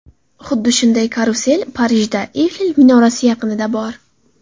Xuddi shunday karusel Parijda Eyfel minorasi yaqinida bor.